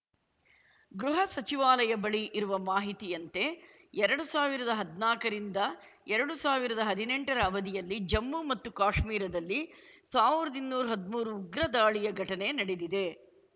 ಗೃಹ ಸಚಿವಾಲಯ ಬಳಿ ಇರುವ ಮಾಹಿತಿಯಂತೆ ಎರಡು ಸಾವಿರದ ಹದ್ನಾಕರಿಂದ ಎರಡು ಸಾವಿರದ ಹದ್ನೆಂಟರ ಅವಧಿಯಲ್ಲಿ ಜಮ್ಮು ಮತ್ತು ಕಾಶ್ಮೀರದಲ್ಲಿ ಸಾವಿರ್ದ್ ಇನ್ನೂರು ಹದ್ಮೂರು ಉಗ್ರ ದಾಳಿಯ ಘಟನೆ ನಡೆದಿವೆ